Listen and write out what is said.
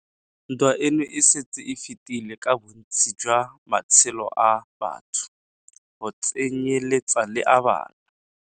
Ntwa eno e setse e fetile ka bontsi jwa matshelo a batho, go tsenyeletsa le a bana.